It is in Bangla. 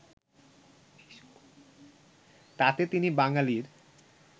তাতে তিনি বাঙালির